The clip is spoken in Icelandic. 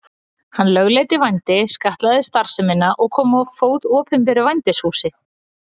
Hann lögleiddi vændi, skattlagði starfsemina og kom á fót opinberu vændishúsi.